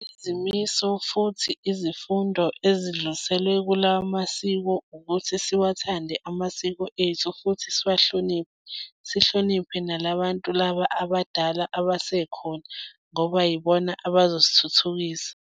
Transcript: Izimiso futhi izifundo ezidluliselwe kulawo masiko ukuthi siwathande amasiko ethu futhi siwahloniphe. Sihloniphe nala bantu laba abadala abasekhona ngoba yibona abazosithuthukisa.